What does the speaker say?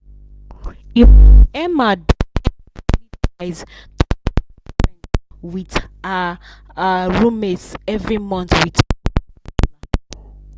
emma with her her roommates every month